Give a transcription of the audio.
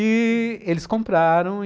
E eles compraram.